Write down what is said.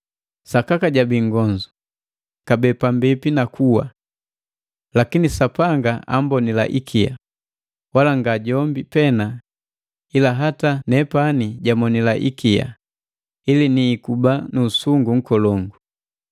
Sakaka jabii nngonzu, kabee pambipi na kuwa. Lakini Sapanga ambonila ikia, wala nga jombi pena, ila hata nepani jamonila ikia, ili niikuba nusungu nkolongu.